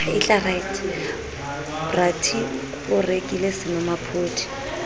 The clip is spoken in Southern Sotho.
bra t o rekile senomaphodi